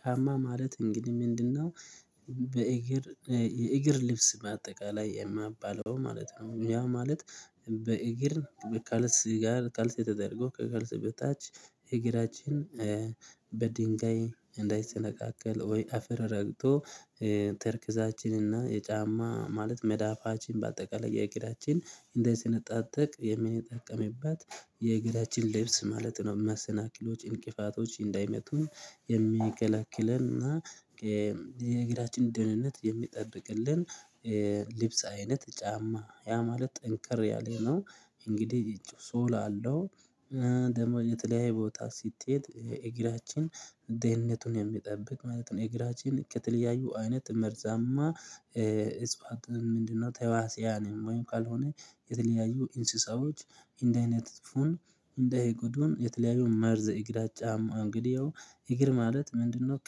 ጫማ ማለት እንግዲህ ምንድነው? በእግር የእግር ልብስ በአጠቃላይ የሚባለው ማለት ነው ያ ማለት። በእግር በካልሲ ጋር ካልሲ ተደርጎ ከካልሲ በታች እግራችን እ በድንጋይ እንዳይሰነቃቀል ወይ አፈር ረግጦ እ ተረከዛችን እና የጫማ ማለት መዳፋችን በአጠቃላይ የእግራችን እንዳይሰነጣጠቅ የምንጠቀምበት የእግራችን ልብስ ማለት ነው። መሰናኪሎች እንቅፋቶች እንዳይመቱን የሚከለክለን እና የእግራችን ደህንነት የሚጠብቅልን እ ልብስ አይነት ጫማ ያ ማለት ጠንከር ያለነው እንግዲህ ሶል አለው። ደግሞ የተለያየ ቦታ ስትሄድ እግራችን ደህንነቱን የሚጠብቅ ማለት ነው። እግራችን ከተለያዩ አይነት መርዛማ እጽዋትን ምንድነው? ተዋሲያንም ወይም ካልሆነ የተለያዩ እንስሳዎች እንዳይነድፉን እንዳይጎዱን የተለያዩ መርዘ እግራ ጫማ እንግዲህ ያው እግር ማለት ምንድነው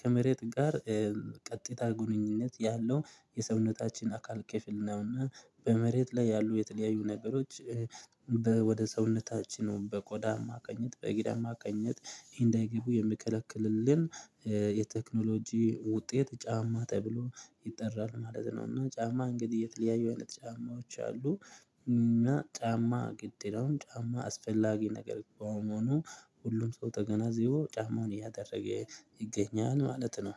ከመሬት ጋር ቀጥታ ግንኙነት ያለው የሰውነታችን አካል ክፍል ነው። እና በመሬት ላይ ያሉ የተለያዩ ነገሮች ወደ ሰውነታችን በቆዳ አማካይነት በእግር አማካይነት እንዳይገቡ የሚከለክልልን እ የቴክኖሎጂ ውጤት ጫማ ተብሎ ይጠራል ማለት ነው። እና ጫማ እንግዲህ የተለያዩ አይነት ጫማዎች አሉ። እና ጫማ ግድ ይላል ጫማ አስፈላጊ ነገር በመሆኑ ሁሉም ሰው ተገናዝቦ ጫማውን እያደረገ ይገኛል ማለት ነው